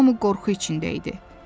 Hamı qorxu içində idi.